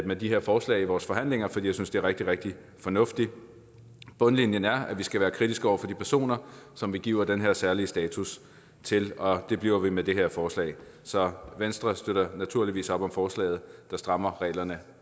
med de her forslag i vores forhandlinger for jeg synes de er rigtig rigtig fornuftige bundlinjen er at vi skal være kritiske over for de personer som vi giver den her særlige status til og det bliver vi med det her forslag så venstre støtter naturligvis op om forslaget der strammer reglerne